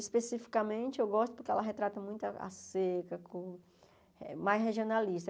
Especificamente, eu gosto porque ela retrata muito a a seca, com mais regionalista.